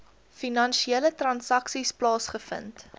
finansiële transaksies plaasgevind